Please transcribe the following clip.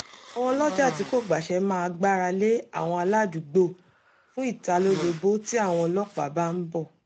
àwọn olọ́jà tí kò gbàṣe máa gbáralé àwọn aládùúgbò fún ìtalólobó tí àwọn ọlọ́pàá bá ń bọ̀